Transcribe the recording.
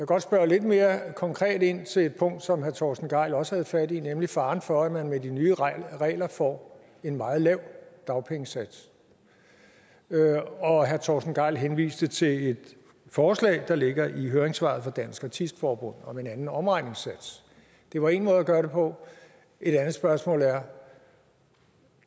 godt spørge lidt mere konkret ind til et punkt som herre torsten gejl også havde fat i nemlig faren for at man med de nye regler får en meget lav dagpengesats herre torsten gejl henviste til et forslag der ligger i høringssvaret fra dansk artist forbund om en anden omregningssats det var en måde at gøre det på et andet spørgsmål er